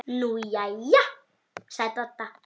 Nú jæja sagði Dadda.